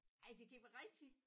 Ej det kan ikke være rigtig!